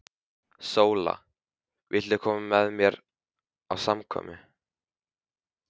SÓLA: Viltu koma með mér á samkomu?